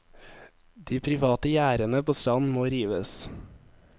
De private gjerdene på stranden må rives.